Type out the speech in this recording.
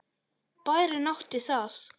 Bærinn átti það.